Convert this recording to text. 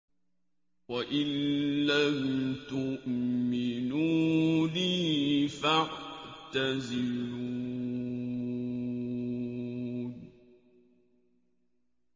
وَإِن لَّمْ تُؤْمِنُوا لِي فَاعْتَزِلُونِ